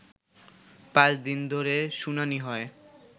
৫ দিন ধরে শুনানি হয়